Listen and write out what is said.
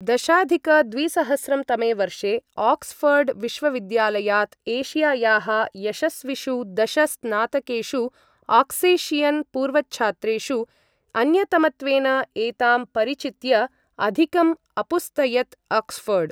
दशाधिक द्विसहस्रं तमे वर्षे, आक्स्ऴर्ड् विश्वविद्यालयात् एशियायाः यशस्विषु दश स्नातकेषु आक्सेशियन् पूर्वच्छात्रेषु अन्यतमत्वेन एतां प्रचित्य अधिकम् अपुस्तयत् आक्स्ऴर्ड्।